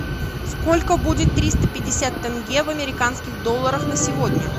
сколько будет триста пятьдесят тенге в американских долларах на сегодня